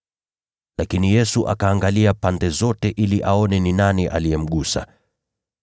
Lakini Yesu akaangalia pande zote ili aone ni nani aliyemgusa.